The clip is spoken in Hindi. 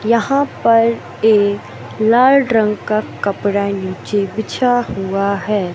यहां पर एक लाल रंग का कपड़ा नीचे बिछा हुआ है।